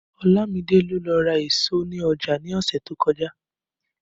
Olamide ló lọ ra èso ní ọjà ní ọ̀sẹ̀ tó kọjá